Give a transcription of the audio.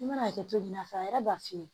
I mana a kɛ cogo min na a yɛrɛ b'a f'i ye